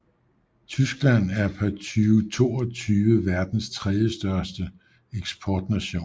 Tyskland er per 2022 verdens tredjestørste største eksportnation